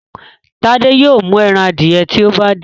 Tade yóò mú èràn adiẹ tí o bá de.